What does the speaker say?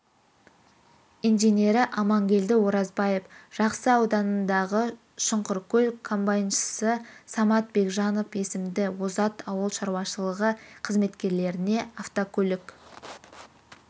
инженері амангелді оразбаев жақсы ауданындағы шұңқыркөл комбайншысы самат бекжанов есімді озат ауыл шаруашылығы қызметкерлеріне автокөлік